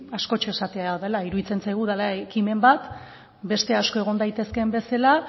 askotxo esatea dela iruditzen zaigu dela ekimen bat beste asko egon daitezkeen bezala